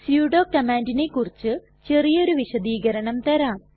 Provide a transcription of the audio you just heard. sudo കമാണ്ടിനെ കുറിച്ച് ചെറിയൊരു വിശദീകരണം തരാം